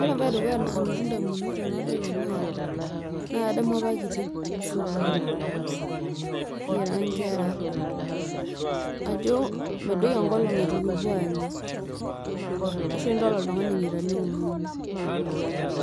ore embae edukuya nalotu indamunot tenadol ena na kadamu apa kitii sukuul kira inkera ajo midoyio enkolong eitu kipuo aanya ashu tenidol oltungani enyaita niomonu